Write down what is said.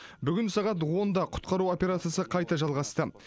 бүгін сағат онда құтқару операциясы қайта жалғасты